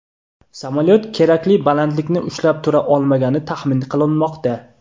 Samolyot kerakli balandlikni ushlab tura olmagani taxmin qilinmoqda.